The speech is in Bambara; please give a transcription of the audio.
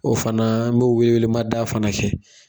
O fana n bɛ wele wele mada fana kɛ.